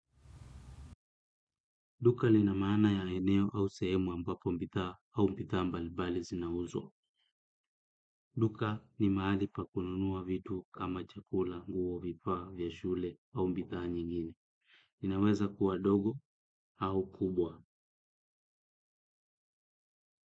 Duka lina maana ya eneo au sehemu ambapo bidhaa au bidhaa mbali mbali zinauzwa. Duka ni mahali pa kununua vitu kama chakula nguo vifaa vya shule au bidhaa nyingine. Inaweza kuwa dogo au kubwa.